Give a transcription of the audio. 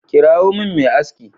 Kirawo min mai aski.